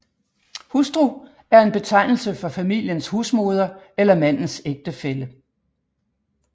Hustru er en betegnelse for familiens husmoder eller mandens ægtefælle